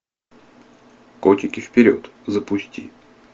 котики вперед запусти